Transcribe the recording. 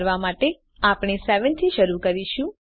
તે કરવા માટે આપણે 7 થી શરુ કરીશું